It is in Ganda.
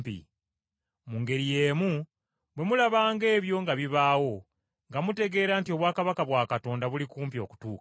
Mu ngeri y’emu bwe muliraba ebintu nga bibaawo, nga mumanya nti obwakabaka bwa Katonda buli kumpi okutuuka.